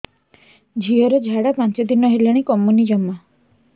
ଝିଅର ଝାଡା ପାଞ୍ଚ ଦିନ ହେଲାଣି କମୁନି ଜମା